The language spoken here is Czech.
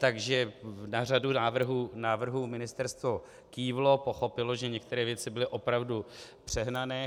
Takže na řadu návrhů ministerstvo kývlo, pochopilo, že některé věci byly opravdu přehnané.